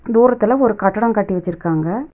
தூரத்துல ஒரு கட்டடோ கட்டி வெச்சிருக்காங்க.